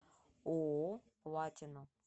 ооо платина